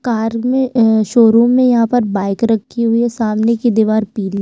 car में अ showroom में यहाँ पर बाइक रखी हुई है सामने की दिवार पीली--